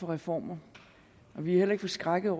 reformer og vi er heller ikke forskrækkede